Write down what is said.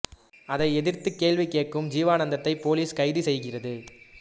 அதை எதிர்த்து கேள்வி கேட்கும் ஜீவானந்தத்தை போலிஸ் கைது செய்கிறது